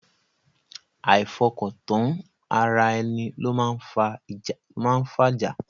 Àìfọkọ̀tán ara ẹni ló máa ń fájá.